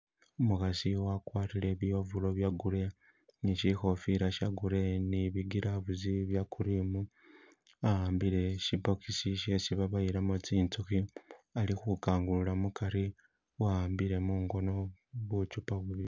Umukhasi wakwarire bi ovuro bye grey ni shi khofila she grey ni bi gloves bye cream, a'ambile shi box shesi baboyelamo tsinzukhi ali khu kangulula mukari , wa'ambile mungono buchupa bubili.